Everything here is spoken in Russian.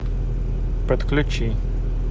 подключи